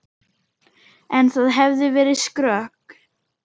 En það hefði verið skrök.